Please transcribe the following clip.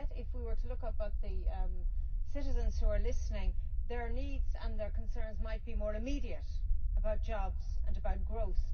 And yet, if we were to look up at the citizens who are listening, their needs and their concerns might be more immediate about jobs and about growth.